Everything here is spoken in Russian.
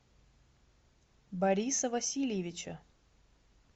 бориса васильевича